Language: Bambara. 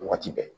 Waati bɛɛ